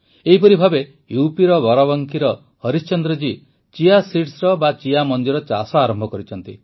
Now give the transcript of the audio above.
ଏହିପରି ଭାବେ ୟୁପିର ବାରାବଙ୍କିର ହରିଶ୍ଚନ୍ଦ୍ର ଜୀ ଚିଆ seedsର ଚାଷ ଆରମ୍ଭ କରିଛନ୍ତି